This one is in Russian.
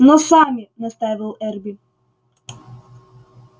но сами настаивал эрби